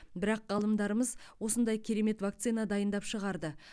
бірақ ғалымдарымыз осындай керемет вакцина дайындап шығарды